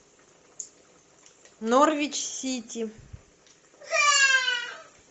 норвич сити